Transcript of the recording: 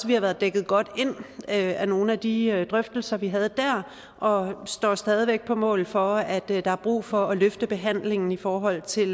vi har været dækket godt ind af nogle af de drøftelser vi havde der og står stadig væk på mål for at der er brug for at løfte behandlingen i forhold til